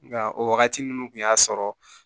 Nka o wagati ninnu tun y'a sɔrɔ